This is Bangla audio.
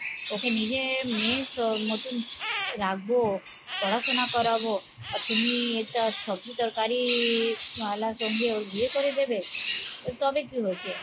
ওকে নিজে মেয়ের মতন রাখবো, পড়া শুনা করাবো তুমি এটা সবজি তরকারি, ময়লা, সঙ্গে ওর বিয়ে করে দেবে? তবে কি হয়েছে?